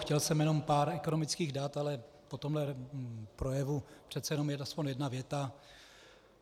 Chtěl jsem jenom pár ekonomických dat, ale po tomhle projevu přece jenom aspoň jedna věta.